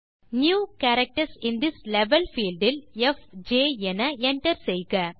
new characters in this level field ல் FJ என enter செய்க